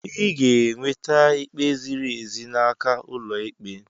Ị ga-enweta ikpe ziri ezi n'aka ụlọ ikpe.